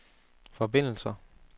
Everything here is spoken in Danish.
forbindelser